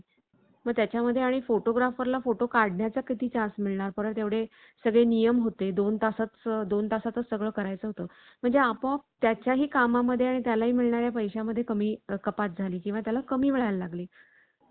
मग त्याच्यामध्ये आणि photographer ला फोटो काढण्यासाठी किती तास मिळणार? परत एवढे सगळे नियम होते. दोन तासात दोन तासातच सगळं करायचं होतं म्हणजे आपोआप त्याच्याही कामामध्ये आणि त्या लाही मिळणाऱ्या पैशा मध्ये कमी कपात झाली किंवा त्याला कमी मिळायला लागले.